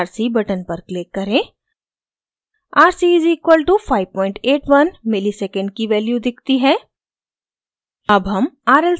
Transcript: calculate rc button पर click करें rc = 581 msec की value दिखती है